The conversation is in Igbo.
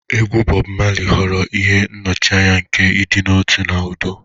Egwu Bob Marley ghọrọ ihe nnọchianya nke ịdị n'otu na udo.